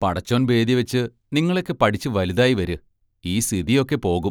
പടച്ചോൻ ബേദ്യവെച്ച് നിങ്ങളൊക്കെ പഠിച്ച് വലുതായി വര് ഈ സിതിയൊക്കെ പോകും.